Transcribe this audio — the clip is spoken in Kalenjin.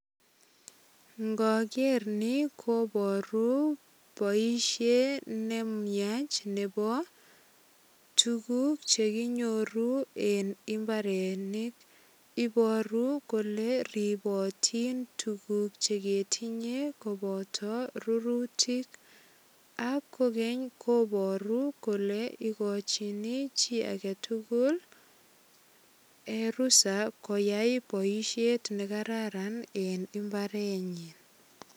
Ngoger ni kobaru boisiet ne miach nebo tuguk che konyoru eng imabarenik. Ibaru kole ribotin tuguk cheketinye koboto rurutik ak kogeny kobaru kole igochini chi agetugul en rusa koyai boisiet nekararan en imbarenyin.